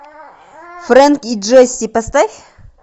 френк и джесси поставь